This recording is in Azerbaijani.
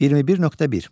21.1.